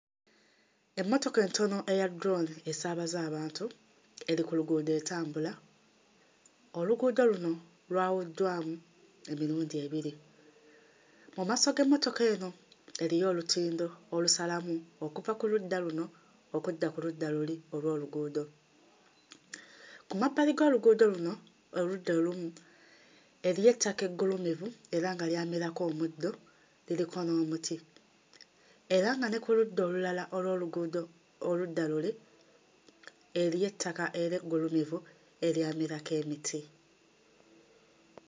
Emmotoka entono eya Drone esaabaza abantu eri ku luguudo etambula, oluguudo luno lwawuddwamu emirundi ebiri, mu maaso g'emmotoka eno eriyo olutindo olusalamu okuva ku ludda luno okudda ku ludda luli olw'oluguudo. Ku mabbali g'oluguudo luno oludda olumu eriyo ettaka eggulumivu era nga lyamerako omuddo liriko n'omuti era nga ne ku ludda olulala olw'oluguudo oludda luli eriyo ettaka era eggulumivu eryamerako emiti.